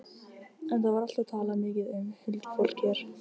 En það var alltaf talað mikið um huldufólk hér.